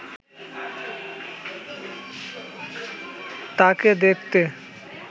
তাঁকে দেখতে